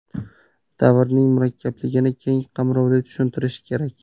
Davrning murakkabligini keng qamrovli tushuntirish kerak.